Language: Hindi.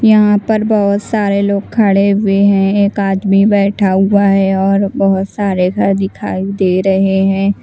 यहाँ पर बहुत सारे लोग खाड़े हुए हैं एक आदमी बैठा हुआ है और बहुत सारे घर दिखाई दे रहे हैं।